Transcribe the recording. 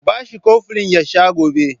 Ku ba shi koflin ya sha gobe!